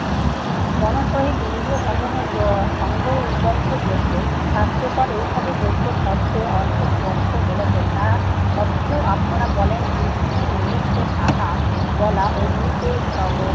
মনোসহিত ইন্দ্রিয়সমুহের য~ সঙ্গবদ্ধ যজ্ঞ শাস্ত্রকর এই ভাবে যজ্ঞ শব্দের অর্থ স্পষ্ট বলেছেন, তা সত্ত্বেও আপনারা বলেন বিষ্ণুর নিমিত্তে সাহা বলা অগ্নিতে যব,